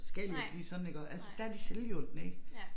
Skal ikke lige sådan iggå altså der de selvhjulpne ik